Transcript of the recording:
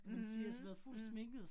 Mh mh